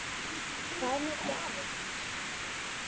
Hvað með gjafir?